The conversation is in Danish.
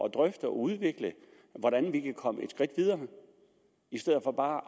at drøfte og udvikle hvordan vi kan komme et skridt videre i stedet for bare